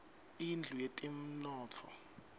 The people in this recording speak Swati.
indlu yetemnotfo